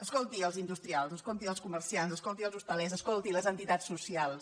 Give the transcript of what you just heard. escolti els industrials escolti els comerciants escolti els hostalers escolti les entitats socials